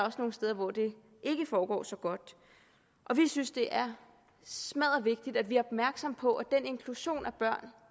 også nogle steder hvor det ikke foregår så godt vi synes det er smaddervigtigt at vi er opmærksomme på at den inklusion af børn